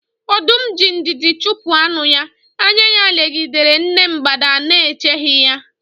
Ọdum ji ndidi chupu anu-ya, anya-ya legidere nne mgbada nēcheghi ya.